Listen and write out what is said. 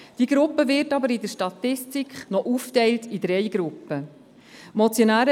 Diese Gruppe wird aber in der Statistik noch in drei Gruppen aufgeteilt.